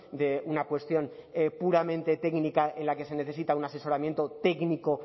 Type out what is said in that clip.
de una cuestión puramente técnica en la que se necesita un asesoramiento técnico